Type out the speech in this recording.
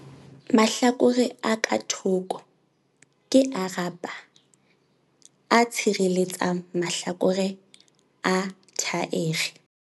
Mahlakore a ka thoko - Ke a rubber, a tshireletsang mahlakore a thaere.